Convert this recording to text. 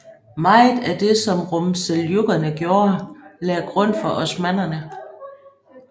Meget af det som Rumseljukkerne gjorde lagde grund for osmannerne